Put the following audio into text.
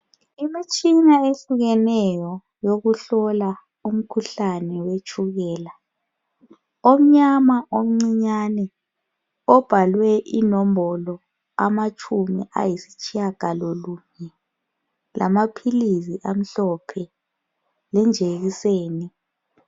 Imitshina eyehlukeneyo yokuhlola umkhuhlane wetshukela omnyama omcinyane obhalwe inombolo amatshumi ayisitshiyangalo lunye lamaphilisi amhlophe lenjekiseni.